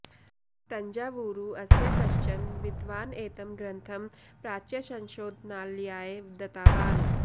तञ्जावूरु अस्य कश्चन विद्वान् एतं ग्रन्थं प्राच्यसंशोधनालयाय दतावान्